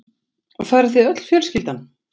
Farið þið öll fjölskyldan?